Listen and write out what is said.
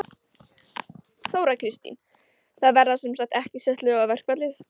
Þóra Kristín: Það verða sem sagt ekki sett lög á verkfallið?